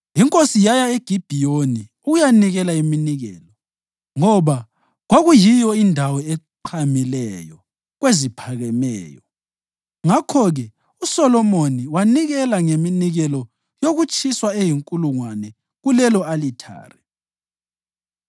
Inkosi yaya eGibhiyoni ukuyanikela iminikelo, ngoba kwakuyiyo indawo eqhamileyo kweziphakemeyo, ngakho-ke uSolomoni wanikela ngeminikelo yokutshiswa eyinkulungwane kulelo-alithare.